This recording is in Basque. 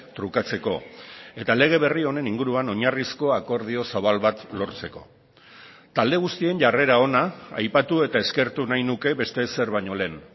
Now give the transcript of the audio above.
trukatzeko eta lege berri honen inguruan oinarrizko akordio zabal bat lortzeko talde guztien jarrera ona aipatu eta eskertu nahi nuke beste ezer baino lehen